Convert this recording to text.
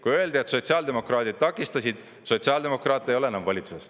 Kui öeldi, et sotsiaaldemokraadid takistasid – sotsiaaldemokraate ei ole enam valitsuses.